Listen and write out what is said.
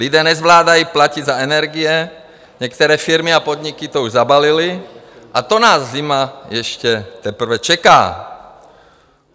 Lidé nezvládají platit za energie, některé firmy a podniky to už zabalily, a to nás zima ještě teprve čeká.